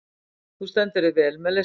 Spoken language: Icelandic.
Þú stendur þig vel, Melissa!